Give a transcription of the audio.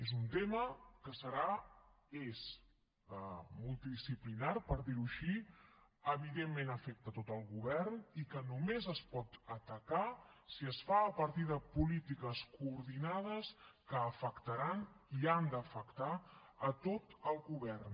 és un tema que serà és multidisciplinari per dir ho així evidentment afecta tot el govern i només es pot atacar si es fa a partir de polítiques coordinades que afectaran i han d’afectar tot el govern